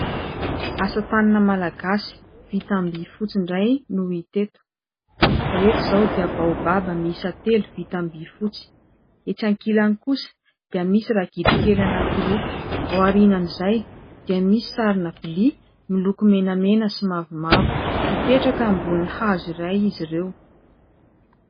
asa-tànana malagasy vita amin'ny vifotsy indray no hita eto. Ireto izao dia baobaba miisa telo, vita amin'ny vifotsy ; etsy ankilany kosa dia misy ragidro kely anankiroa. Ao aorianan'izay dia misy sarina vilia miloko menamena sy mavomavo, ambonin'ny hazo iray izy ireo.